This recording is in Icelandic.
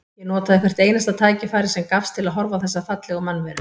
Ég notaði hvert einasta tækifæri sem gafst til þess að horfa á þessa fallegu mannveru.